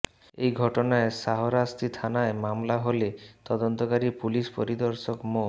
এই ঘটনায় শাহরাস্তি থানায় মামলা হলে তদন্তকারী পুলিশ পরিদর্শক মো